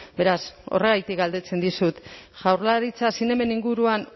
beraz horregatik galdetzen dizut jaurlaritza zinemen inguruan